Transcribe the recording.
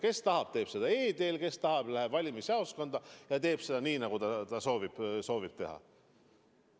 Kes tahab, hääletab e-teel, kes tahab, läheb valimisjaoskonda ja teeb seda nii, nagu ta soovib teha.